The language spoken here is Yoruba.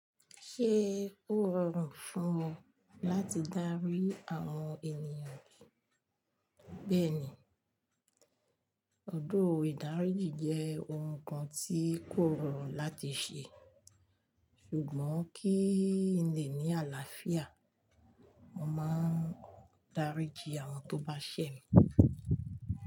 Ṣé ó rọrùn fún ọ láti dárí àwọn ènìyàn bí ẹ ni? Although ìdáríjì jẹ́ ohun kan tí kò rọrùn láti ṣe, ṣùgbọ́n kí n lè ní àlàáfíà, mo máa ń daríji àwọn tó bá ṣẹ̀ mí.